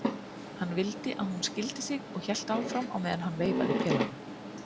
Hann vildi að hún skildi sig og hélt áfram á meðan hann veifaði pelanum